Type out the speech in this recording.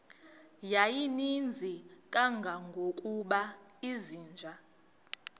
yayininzi kangangokuba izinja